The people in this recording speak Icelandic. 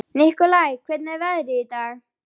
Nikolai, hvernig er veðrið í dag?